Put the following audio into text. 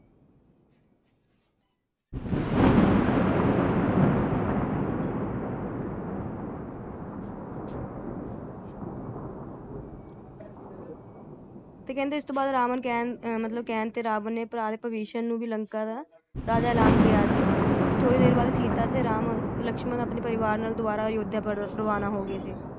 ਤੇ ਕਹਿੰਦਾ ਇਸ ਤੋਂ ਬਾਅਦ ਰਾਵਣ ਕੈਂ~ ਮਤਲਬ ਕਹਿਣ ਤੇ ਰਾਵਣ ਨੇ ਭਰਾ ਵਿਭੀਸ਼ਨ ਵੀ ਨੂੰ ਲੰਕਾ ਦਾ ਰਾਜਾ ਐਲਾਨ ਕੀਆ ਸੀਗਾ । ਥੋੜੀ ਦੇਰ ਬਾਅਦ ਸੀਤਾ ਤੇ ਰਾਮ, ਲਕਸ਼ਮਣ ਆਪਣੇ ਪਰਿਵਾਰ ਨਾਲ ਦੋਬਾਰਾ ਅਯੋਧਿਆ ਪਰਬਤ ਰਵਾਨਾ ਹੋਗਏ ਸੀ ।